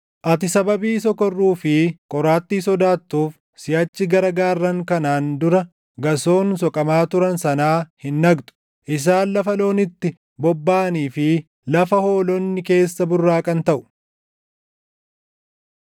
Ati sababii sokorruu fi qoraattii sodaattuuf siʼachi gara gaarran kanaan dura gasoon soqamaa turan sanaa hin dhaqxu; isaan lafa loon itti bobbaʼanii fi lafa hoolonni keessa burraaqan taʼu.